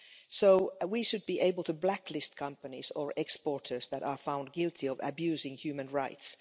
So, we should be able to blacklist companies or exporters that are found guilty of abusing human rights.